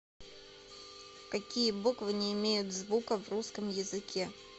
какие буквы не имеют звука в русском языке